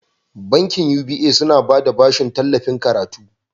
Bankin UBA suna bada bashin tallafin karatu.